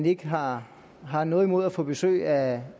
ikke har har noget imod at få besøg af